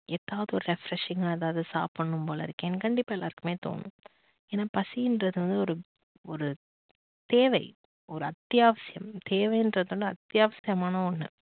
ஏதாவது ஒரு refreshing கா ஏதாவது சாப்பிடணும் போல இருக்கேனு கண்டிப்பா எல்லாருக்குமே தோணும். ஏன்னா பசினுறது வந்து ஒரு ஒரு தேவை ஒரு அத்தியாவசியம் தேவைறத விட அத்தியா விஷயமான ஒன்னு